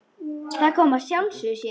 Það kom af sjálfu sér.